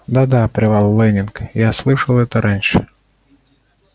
да да прервал лэннинг я это слышал раньше